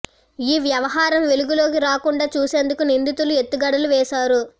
ఈ వ్యవహరం వెలుగులో కి రాకుండా చూసేందుకు నిందితులు ఎత్తుగడలు వేశారు